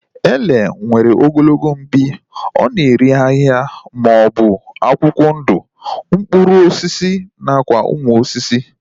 Ele nwere ogologo mpi, ọ na-eri ahịhịa maọbụ akwụkwọ ndụ, mkpụrụ osisi nakwa ụmụ osisi